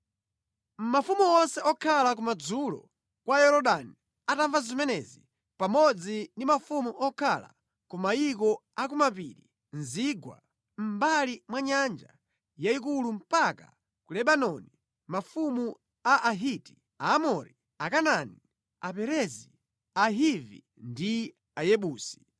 Mafumu onse okhala kumadzulo kwa Yorodani atamva zimenezi pamodzi ndi mafumu okhala ku mayiko a ku mapiri, mu zigwa, mʼmbali mwa Nyanja yayikulu mpaka ku Lebanoni (mafumu a Ahiti, Aamori, Akanaani, Aperezi, Ahivi, ndi Ayebusi),